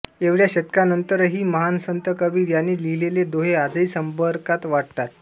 एवढ्या शतकानंतरही महान संत कबीर यांनी लिहिलेले दोहे आजही समर्पक वाटतात